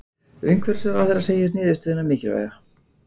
Umhverfisráðherra segir niðurstöðuna mikilvæga